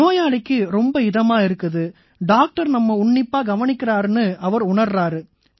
நோயாளிக்கு ரொம்ப இதமா இருக்குது டாக்டர் நம்மை உன்னிப்பா கவனிக்கறாருன்னு அவரு உணர்றாரு